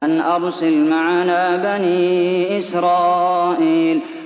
أَنْ أَرْسِلْ مَعَنَا بَنِي إِسْرَائِيلَ